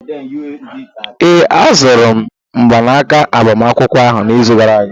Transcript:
Ee, azụrụ m mgbanaka agbamakwụkwọ ahụ n'izu gara aga